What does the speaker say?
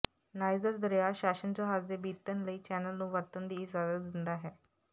niger ਦਰਿਆ ਸ਼ਾਸਨ ਜਹਾਜ਼ ਦੇ ਬੀਤਣ ਲਈ ਚੈਨਲ ਨੂੰ ਵਰਤਣ ਦੀ ਇਜਾਜ਼ਤ ਦਿੰਦਾ ਹੈ